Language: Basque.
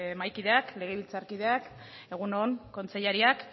mahaikideak legebiltzarkideak egun on kontseilariak